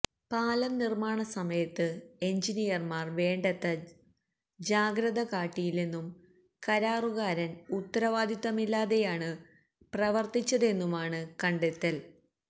പാലം നിർമ്മാണ സമയത്ത് എൻജിനീയർമാർ വേണ്ടത്ര ജാഗ്രത കാട്ടിയില്ലെന്നും കരാറുകാരൻ ഉത്തരവാദിത്തമില്ലാതെയാണ് പ്രവർത്തിച്ചതെന്നുമാണ് കാണ്ടെത്തൽ